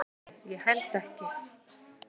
Nei, held ekki